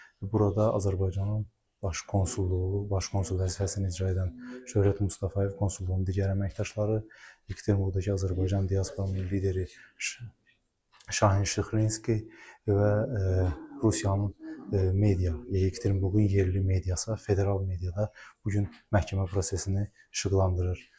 Burada Azərbaycanın baş konsulluğu, baş konsul vəzifəsini icra edən Şöhrət Mustafayev, konsulluğun digər əməkdaşları, Ekaterinburqdakı Azərbaycan diasporunun lideri Şahin Şıxlinski və Rusiyanın media, Ekaterinburqun yerli mediası, federal mediada bu gün məhkəmə prosesini işıqlandırır.